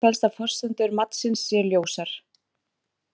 Í þessu felst að forsendur matsins séu ljósar.